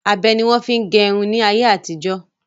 Abẹ ni wọn fi ń gẹrun ni ayé àtijọ́